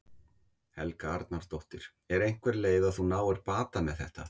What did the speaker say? Helga Arnardóttir: Er einhver leið að þú náir bata með þetta?